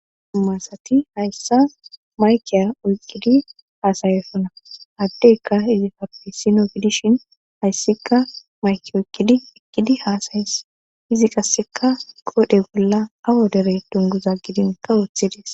Humasati hayssa maykiya oyqqidi haasayessona addeyka izi fapisino pidishin hayssika mayki oykkidi ekkidi haasayes izi qasseka qoodhe bolla awo derey dunguza gidinka wuothedes